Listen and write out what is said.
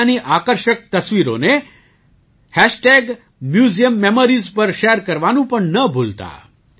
તમે ત્યાંની આકર્ષક તસવીરોને હેશટેગ મ્યુઝિયમ મેમોરીઝ પર શૅર કરવાનું પણ ન ભૂલતા